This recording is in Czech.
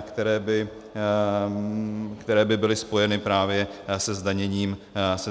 které by byly spojeny právě se zdaněním emisí.